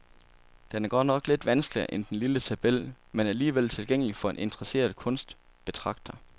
Den er godt nok lidt vanskeligere end den lille tabel, men alligevel tilgængelig for en interesseret kunstbetragter.